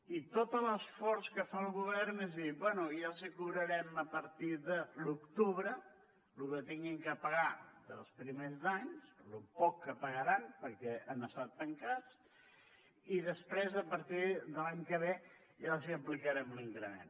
i tot l’esforç que fa el govern és dir bé ja els hi cobrarem a partir de l’octubre lo que hagin de pagar de primers d’any lo poc que pagaran perquè han estat tancats i després a partir de l’any que ve ja els aplicarem l’increment